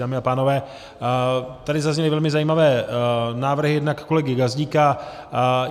Dámy a pánové, tady zazněly velmi zajímavé návrhy, jednak kolegy Gazdíka.